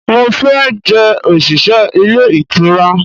mo fe je osise ile itura